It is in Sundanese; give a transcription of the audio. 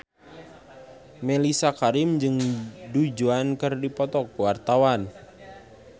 Mellisa Karim jeung Du Juan keur dipoto ku wartawan